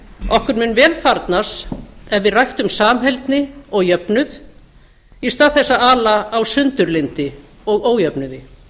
okkur mun vel farnast ef við ræktum samheldni og jöfnuð í stað þess að ala á sundurlyndi og ójöfnuði